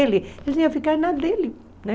Ele ficar nada dele, né?